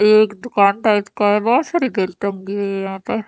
ये एक दुकान टाइप का है बहुत सारी टंगी हुई है यहाँ पे।